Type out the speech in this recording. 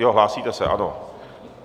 Jo, hlásíte se, ano.